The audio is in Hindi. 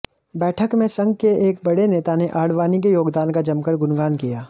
बैठक में संघ के एक बड़े नेता ने आडवाणी के योगदान का जमकर गुणगान किया